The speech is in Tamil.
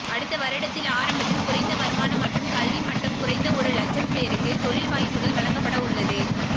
அடுத்து வருடத்தில் ஆரம்பத்தில் குறைந்த வருமானம் மற்றும் கல்வி மட்டம் குறைந்த ஒரு இலட்சம் பேருக்கு தொழில் வாய்ப்புகள் வழங்கப்படவுள்ளது